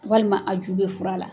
Walima a ju bɛ fura la.